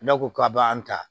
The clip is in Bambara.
Ne ko k'a b'an ta